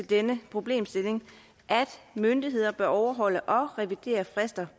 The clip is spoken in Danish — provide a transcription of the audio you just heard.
denne problemstilling at myndigheder bør overholde og revidere frister